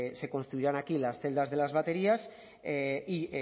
se construirán aquí las celdas de las baterías y